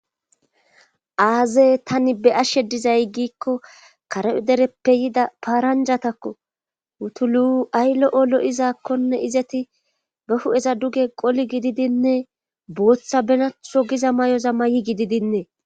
aaze tani be'ashe dizay giikko kareo dereppe yida paaranjatakko wutulu ay lo'o lo'izaakkonne izeti be hu7eza duge qoli gididinne booththa benatho giza may7oza mayi gididinne